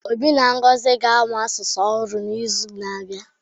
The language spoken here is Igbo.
Obi na Ngozi ga-amụ asụsụ ọhụrụ n'izu na-abịa